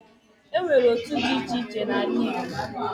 E nwere otu di iche iche na-ala Igbo.